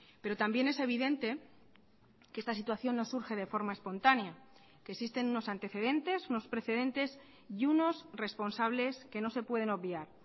pero también es evidente que esta situación no surge de forma espontánea que existen unos antecedentes unos precedentes y unos responsables que no se pueden obviar